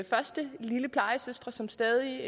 første lille plejesøster som stadig